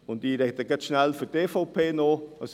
Ich spreche auch noch kurz für die EVP.